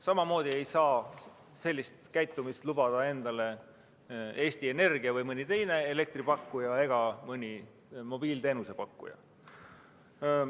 Samamoodi ei saa sellist käitumist lubada endale Eesti Energia ega mõni teine elektripakkuja või mõni mobiiliteenuse pakkuja.